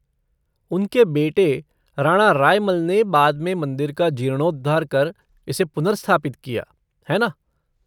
उनके बेटे, राणा रायमल ने बाद में मंदिर का जीर्णोद्धार कर इसे पुनर्स्थापित किया, है ना?